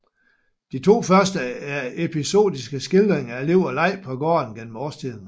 De to første er episodiske skildringer af liv og leg på gården gennem årstiderne